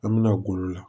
An bɛna golo la